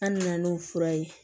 An me na n'o fura ye